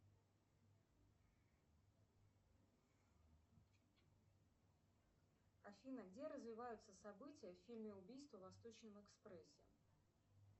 афина где развиваются события в фильме убийство в восточном экспрессе